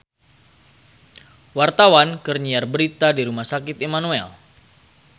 Wartawan keur nyiar berita di Rumah Sakit Immanuel